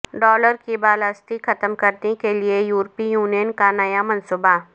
dollar کی بالادستی ختم کرنے کیلئے یورپی یونین کانیا منصوبہ